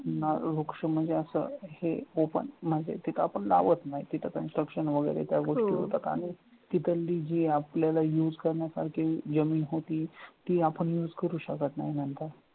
वृक्ष म्हणजे असं हे open म्हणजे तिथं आपण लावत नाही तिथं construction त्या वगैरे त्या गोष्टी होतात आणि तिथली जी आपल्याला use करण्यासारखी जमीन होती, ती आपण use करू शकत नाही नंतर